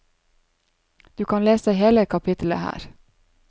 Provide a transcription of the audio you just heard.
Du kan lese hele kapittelet her.